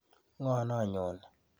Ng'o noo nyoni.